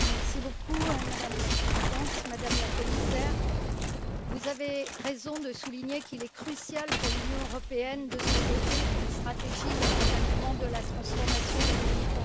Madame la Présidente, Madame la Commissaire, vous avez raison de souligner qu'il est crucial pour l'Union européenne de se doter d'une stratégie d'accompagnement de la transformation numérique dans le domaine de la santé.